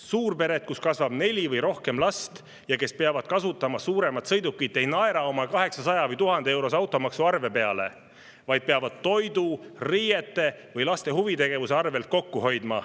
Suurpered, kus kasvab neli või rohkem last ja kes peavad kasutama suuremat sõidukit, ei naera oma 800‑ või 1000‑eurose automaksuarve peale, vaid peavad toidu, riiete või laste huvitegevuse arvel kokku hoidma.